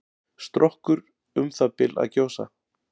Strokkur um það bil að gjósa.